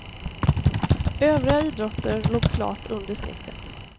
Övriga idrotter låg klart under snittet.